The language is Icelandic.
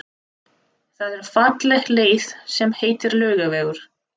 Það er falleg leið sem heitir Laugavegur.